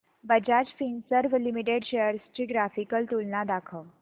Bajaj Finserv limited shares ची graphical तुलना दाखव